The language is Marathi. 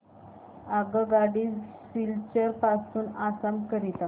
आगगाडी सिलचर पासून आसाम करीता